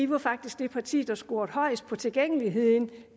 var faktisk det parti der scorede højest på tilgængeligheden